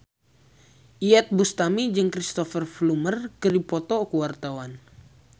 Iyeth Bustami jeung Cristhoper Plumer keur dipoto ku wartawan